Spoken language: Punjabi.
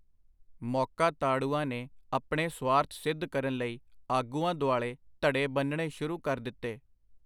ਮੌਕਾ-ਤਾੜੂਆਂ ਨੇ ਆਪਣੇ ਸੁਆਰਥ ਸਿੱਧ ਕਰਨ ਲਈ ਆਗੂਆਂ ਦੁਆਲੇ ਧੜੇ ਬੰਨ੍ਹਣੇ ਸ਼ੁਰੂ ਕਰ ਦਿਤੇ.